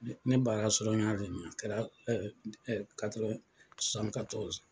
Ne baara sɔrɔ o kɛra .